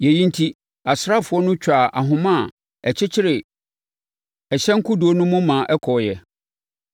Yei enti, asraafoɔ no twaa ahoma a ɛkyekyere ɛhyɛn no kodoɔ no mu no maa ɛkɔeɛ.